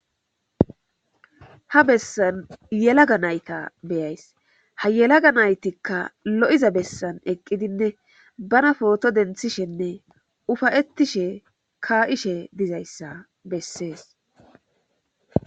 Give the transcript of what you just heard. ha bessan yelaga nayta beyays ha yelaga naytikka lo7iza bessan eqqidinne bana pooto denthishenne ufayettishe ka7ishe dizayssa bessees